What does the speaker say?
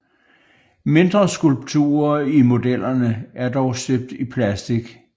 Mindre skulpturer i modellerne er dog støbt i plastik